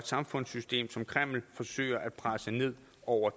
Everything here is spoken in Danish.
samfundssystem som kreml forsøger at presse ned over